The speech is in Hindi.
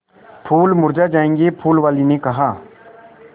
फूल मुरझा जायेंगे फूल वाली ने कहा